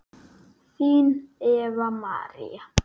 Þín Eva María.